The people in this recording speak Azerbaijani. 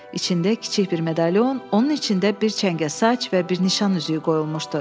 İçində kiçik bir medalion, onun içində bir çəngə saç və bir nişan üzüyü qoyulmuşdu.